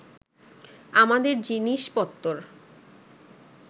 আমাদের জিনিষপত্তর